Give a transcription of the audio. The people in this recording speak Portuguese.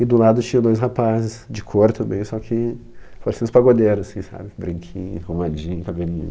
E do lado tinha dois rapazes, de cor também, só que pareciam uns pagodeiros assim sabe? branquinho, arrumadinho, cabelinho.